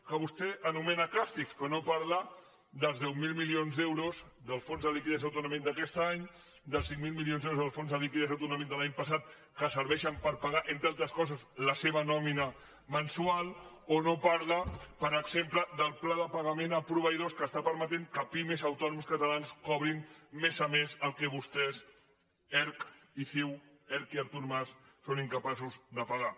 que vostè anomena càstigs però no parla dels deu mil mili·ons d’euros del fons de liquiditat autonòmica d’aquest any dels cinc mil milions d’euros del fons de liquidi·tat autonòmica de l’any passat que serveixen per pa·gar entre altres coses la seva nòmina mensual o no parla per exemple del pla de pagament a proveïdors que està permetent que pimes i autònoms catalans co·brin mes a mes el que vostès erc i ciu erc i artur mas són incapaços de pagar